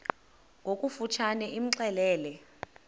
ngokofu tshane imxelele